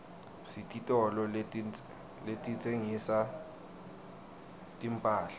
sititolo letitsengisa timphahla